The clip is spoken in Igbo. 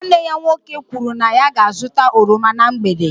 Nwanne ya nwoke kwuru na ya ga-azụta oroma na mgbede